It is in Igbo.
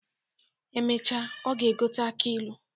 Emecha, ọ ga-egote aki ilu.